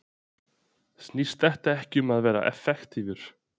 Snýst þetta ekki um það að vera effektívir?